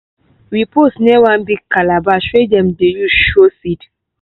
we pose near one big calabash wey dem dey use show seeds.